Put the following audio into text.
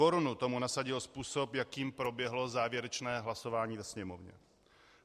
Korunu tomu nasadil způsob, jakým proběhlo závěrečné hlasování ve Sněmovně.